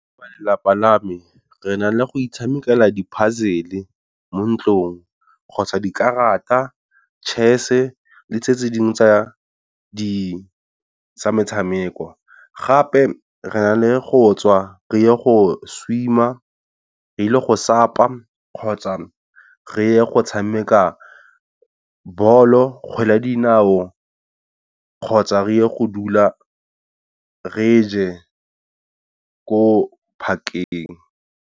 Ba lelapa la me re na le go itshamekela di-puzzle mo ntlong kgotsa dikarata, chess le tse tse dingwe tsa di tsa metshameko, gape re na le go tswa re ye go swimmer re le go sapa kgotsa re ye go tshameka bolo kgwele ya dinao kgotsa reye go dula re je ko park-eng.